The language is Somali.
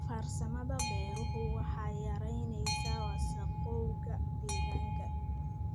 Farsamada beeruhu waxay yaraynaysaa wasakhowga deegaanka.